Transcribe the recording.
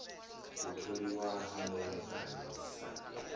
u tholiwa ha mulamukanyi sa